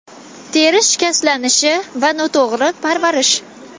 Teri shikastlanishi va noto‘g‘ri parvarish.